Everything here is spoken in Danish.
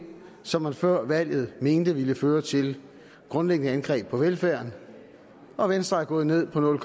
som man før valget mente ville føre til et grundlæggende angreb på velfærden og venstre er gået ned på nul